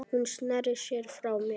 Hún sneri sér frá mér.